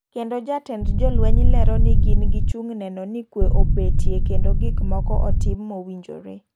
Kendo jatend jolweny lero ni gin gichung' neno ni kwe obetie kendo gik moko otim mowinjore.